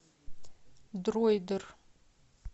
дроидер